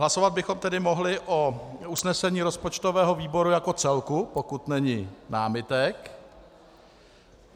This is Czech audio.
Hlasovat bychom tedy mohli o usnesení rozpočtového výboru jako celku, pokud není námitek.